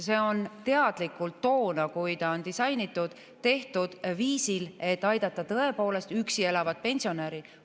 See on toona, kui ta on disainitud, teadlikult tehtud nii, et aidata tõepoolest üksi elavat pensionäri.